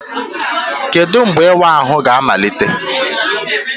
Kedu mgbe ịwa ahụ ga-amalite?